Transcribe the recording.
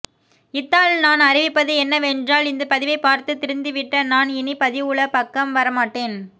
இத்தால் நான் அறிவிப்பது என்ன வென்றால் இந்த பதிவை பார்த்து திருந்தி விட்ட நான் இனி பதிவுலப்பக்கம் வர மாட்டேன்